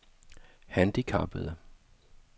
handicappede